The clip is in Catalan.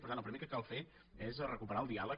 per tant el primer que cal fer és recuperar el diàleg